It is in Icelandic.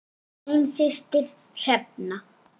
Þín systir Hrefna.